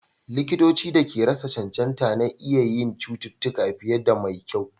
Likitoci da ke rasa cancanta na iyi yin cutarwa fiye da mai kyau.